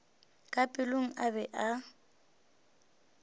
ka pelong a be a